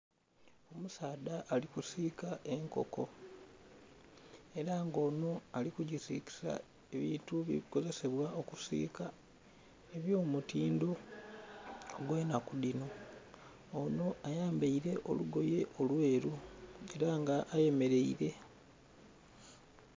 Omusaadha alikusika enkoko era nga ono aligisikisa ebintu ebikozesebwa okusika ebyomutindo ogwenakudhino, ono ayambeire olugoye olweru era nga ayemeraire.